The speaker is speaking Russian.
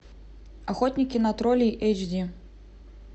охотники на троллей эйч ди